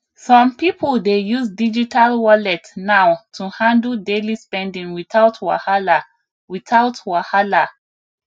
some people dey use digital wallet now to handle daily spending without wahala without wahala